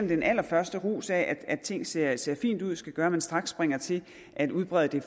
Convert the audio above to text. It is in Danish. den allerførste ros af at ting ser ser fine ud skal gøre at man straks springer til at udbrede det